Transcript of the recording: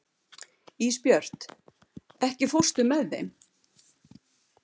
Ísbjört, ekki fórstu með þeim?